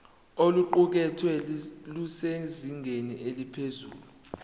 oluqukethwe lusezingeni eliphezulu